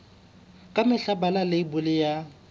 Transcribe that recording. ka mehla bala leibole ya